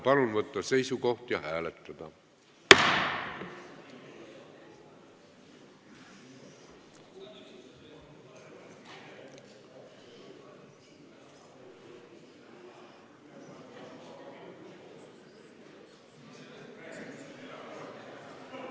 Palun võtta seisukoht ja hääletada!